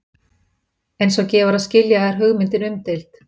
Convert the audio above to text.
eins og gefur að skilja er hugmyndin umdeild